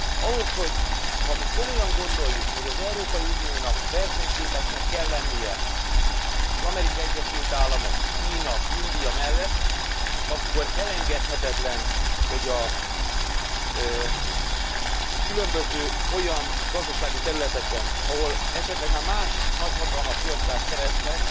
Ahhoz, hogy ha mi komolyan gondoljuk, hogy az Európai Uniónak versenyképesnek kell lennie az Amerikai Egyesült Államok, Kína, India mellett, akkor elengedhetetlen, hogy a különböző olyan gazdasági területeken, ahol esetleg már más nagyhatalmak prioritást szereztek,